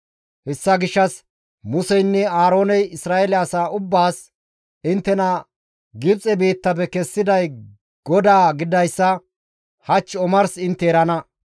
Hessa gishshas Museynne Aarooney Isra7eele asa ubbaas, «Inttena Gibxe biittafe kessiday GODAA gididayssa hach omars intte erana.